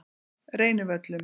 Reynivöllum